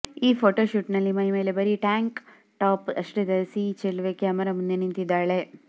ಈ ಫೋಟೋ ಶೂಟ್ನಲ್ಲಿ ಮೈಮೇಲೆ ಬರೀ ಟ್ಯಾಂಕ್ ಟಾಪ್ ಅಷ್ಟೆ ಧರಿಸಿ ಈ ಚೆಲುವೆ ಕ್ಯಾಮರಾ ಮುಂದೆ ನಿಂತಿದ್ದಾಳೆ